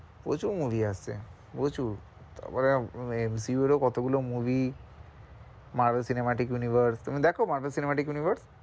প্রচুর movie আসছে, প্রচুর তারপর হ্যাঁ এমসিইউ এর ও কতগুলো movie মার্গ সিনেমা, টেক ইউনিভার্স তুমি দেখো মার্গ সিনেমা, টেক ইউনিভার্স?